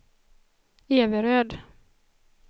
Everöd